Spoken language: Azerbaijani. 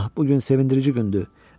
Ah, bu gün sevindirici gündür.